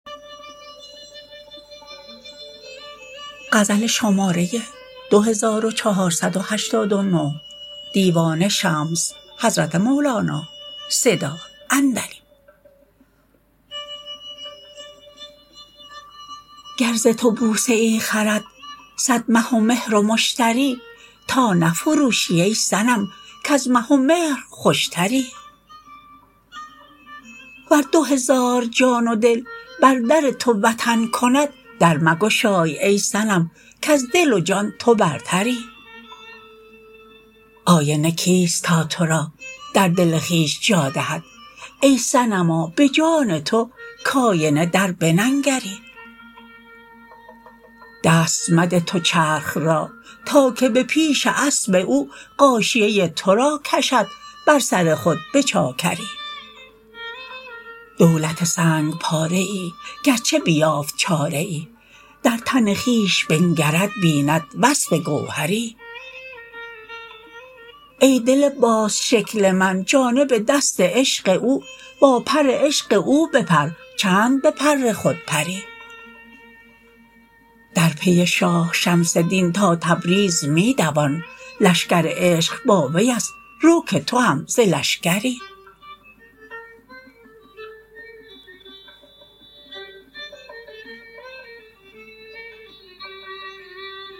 گر ز تو بوسه ای خرد صد مه و مهر و مشتری تا نفروشی ای صنم کز مه و مهر خوشتری ور دو هزار جان و دل بر در تو وطن کند در مگشای ای صنم کز دل و جان تو برتری آینه کیست تا تو را در دل خویش جا دهد ای صنما به جان تو کاینه در بننگری دست مده تو چرخ را تا که به پیش اسب او غاشیه تو را کشد بر سر خود به چاکری دولت سنگ پاره ای گرچه بیافت چاره ای در تن خویش بنگرد بیند وصف گوهری ای دل باز شکل من جانب دست عشق او با پر عشق او بپر چند به پر خود پری در پی شاه شمس دین تا تبریز می دوان لشکر عشق با وی است رو که تو هم ز لشکری